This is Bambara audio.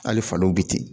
Hali faliw bɛ ten